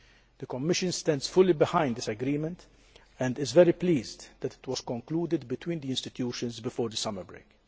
The Commission stands fully behind this agreement and is very pleased that it was concluded between the institutions before the summer break.